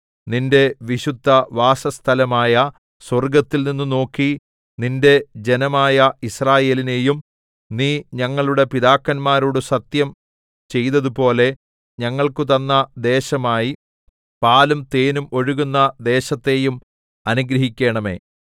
നിന്റെ വിശുദ്ധവാസസ്ഥലമായ സ്വർഗ്ഗത്തിൽനിന്നു നോക്കി നിന്റെ ജനമായ യിസ്രായേലിനെയും നീ ഞങ്ങളുടെ പിതാക്കന്മാരോട് സത്യം ചെയ്തതുപോലെ ഞങ്ങൾക്കുതന്ന ദേശമായി പാലും തേനും ഒഴുകുന്ന ദേശത്തെയും അനുഗ്രഹിക്കണമേ